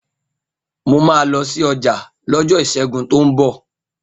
Mo máa lọ sí ọjà lọ́jọ́ Ìṣẹ́gun tó ń bọ̀